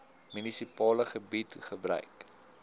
munisipale gebied gebruik